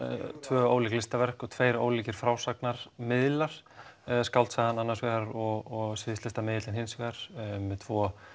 tvö ólík listaverk og tveir ólíkir frásagnarmiðlar skáldsagan annars vegar og hins vegar með tvo